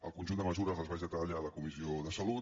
el conjunt de mesures les vaig detallar a la comissió de salut